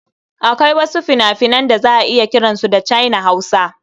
Akwai wasu fina-finan da za a iya kiran su China-Hausa.